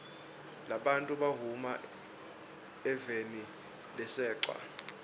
labantfu bahuma evenilasechwa